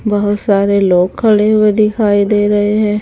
बहोत सारे लोग खड़े हुए दिखाई दे रहे हैं।